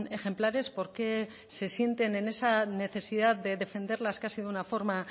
ejemplares por qué se sienten en esa necesidad de defenderlas casi de una forma